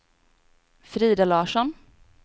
Frida Larsson